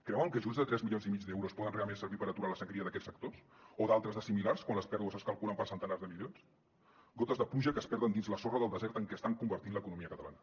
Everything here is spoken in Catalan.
creuen que ajuts de tres milions i mig d’euros poden realment servir per aturar la sagnia d’aquests sectors o d’altres de similars quan les pèrdues es calculen per centenars de milions gotes de pluja que es perden dins la sorra del desert en què estan convertint l’economia catalana